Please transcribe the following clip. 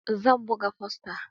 Zan buga fosta.